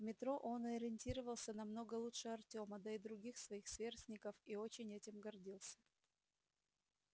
в метро он ориентировался намного лучше артема да и других своих сверстников и очень этим гордился